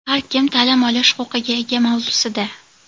Har kim ta’lim olish huquqiga ega mavzusida.